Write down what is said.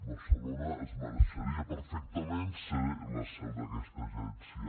barcelona es mereixeria perfectament ser la seu d’aquesta agència